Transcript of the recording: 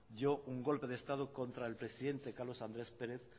dio un golpe de estado contra el presidente carlos andrés pérez